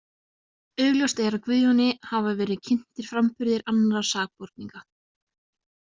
Augljóst er að Guðjóni hafa verið kynntir framburðir annarra sakborninga.